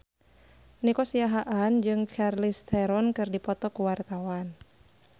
Nico Siahaan jeung Charlize Theron keur dipoto ku wartawan